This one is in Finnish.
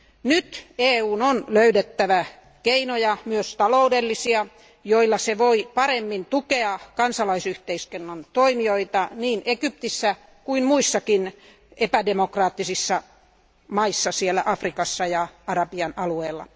Nyt EUn on löydettävä keinoja, myös taloudellisia, joilla se voi paremmin tukea kansalaisyhteiskunnan toimijoita niin Egyptissä kuin muissakin epädemokraattisissa maissa Afrikassa ja Arabian alueella.